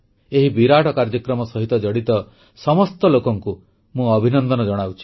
ଏହି ବିରାଟ କାର୍ଯ୍ୟକ୍ରମ ସହିତ ଜଡ଼ିତ ସମସ୍ତ ଲୋକଙ୍କୁ ମୁଁ ଅଭିନନ୍ଦନ ଜଣାଉଛି